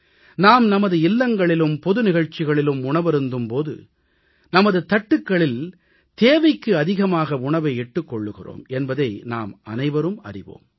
நாம் நமது இல்லங்களிலும் பொது நிகழ்ச்சிகளிலும் உணவருந்தும் போது நமது தட்டுக்களில் தேவைக்கு அதிகமாக உணவை இட்டுக் கொள்கிறோம் என்பதை நாமனைவரும் அறிவோம்